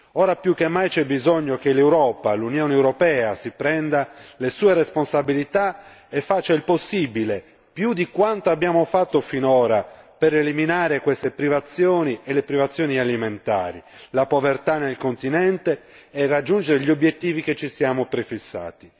Ora più che mai, c'è bisogno che l'Europa l'Unione europea si prenda le sue responsabilità e faccia il possibile più di quanto abbiamo fatto finora, per eliminare queste privazioni e le privazioni alimentari, la povertà nel continente e raggiungere gli obiettivi che ci siamo prefissati.